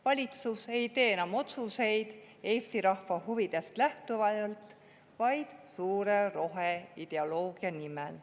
Valitsus ei tee enam otsuseid Eesti rahva huvidest lähtuvalt, vaid suure roheideoloogia nimel.